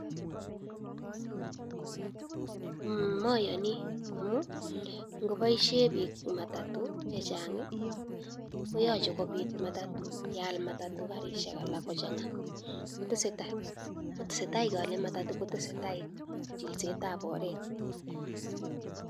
Mayani amu ngobaishen pik matatu chechang koyach keal matatu kochanga kotesetai koale matatu kotesetai chilset ap oret.